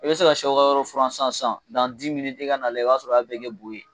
E be se ka sɛw ka yɔrɔ furan sisan sisan dan di miniti e ka n'a lajɛ e b'a sɔrɔ o y'a bɛɛ kɛ boo ye